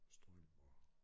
Strøm og